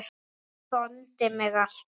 Hann þoldi mig alltaf.